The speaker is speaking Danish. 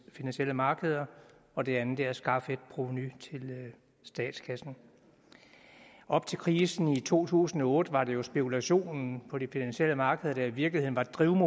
finansielle markeder og det andet er at skaffe et provenu til statskassen op til krisen i to tusind og otte var det jo spekulationen på de finansielle markeder der i virkeligheden